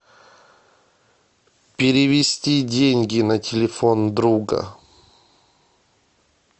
перевести деньги на телефон друга